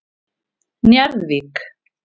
Njarðvík